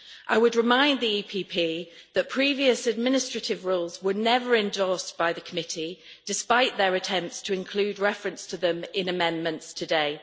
I would remind the EPP that previous administrative rules were never endorsed by the committee, despite their attempts to include reference to them in amendments today.